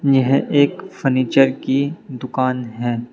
यह एक फर्नीचर की दुकान है।